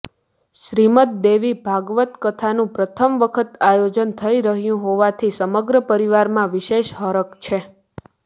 શ્રીમદ્દ દેવી ભાગવત્ કથાનું પ્રથમ વખત આયોજન થઈ રહ્યુ હોવાથી સમગ્ર પરિવારમાં વિશેષ હરખ છે